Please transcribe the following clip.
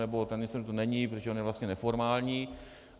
Nebo ten ministr tu není, protože on je vlastně neformální...